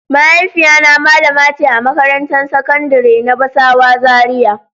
Mahaifiya na malamace a makarantan sakandari na basawa Zaria.